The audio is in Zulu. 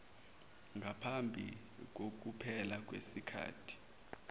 ngaphambi kokuphela kwesikhathi